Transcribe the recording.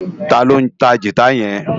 Táló ntá gitá yèn